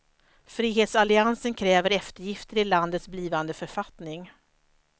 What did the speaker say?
Frihetsalliansen kräver eftergifter i landets blivande författning.